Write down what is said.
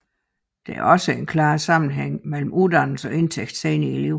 Der er også en klar sammenhæng mellem uddannelse og indtægt senere i livet